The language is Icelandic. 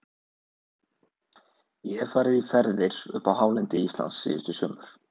Ég hef farið í ferðir upp á hálendi Íslands síðustu sumur.